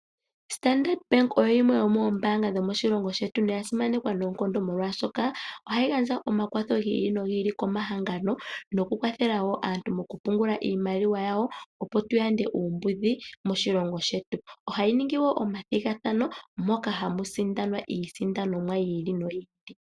Standard bank oyo yimwe yomoombanga dho moshilongo shetu, noya simanekwa noonkondo molwaashoka ohayi gandja omakwatho gi ili nogi ili komahangano, noku kwathela wo aantu mokupungula iimaliwa yawo opo tu yande uumbudhi moshilongo shetu. Ohayi ningi wo omathigathano moka hamu sindanwa iisindanomwa yi ili noyi ili.